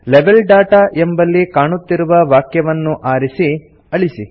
level data ಎಂಬಲ್ಲಿ ಕಾಣುತ್ತಿರುವ ವಾಕ್ಯವನ್ನು ಆರಿಸಿ ಅಳಿಸಿ